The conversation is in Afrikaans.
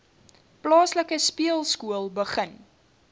plaaslike speelskool begin